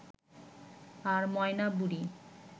আর ময়না বুড়ি